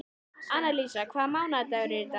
Annalísa, hvaða mánaðardagur er í dag?